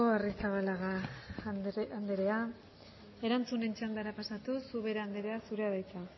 arrizabalaga andrea erantzunen txandara pasatuz ubera andrea zurea da hitza